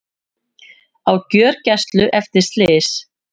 Á gjörgæslu eftir slys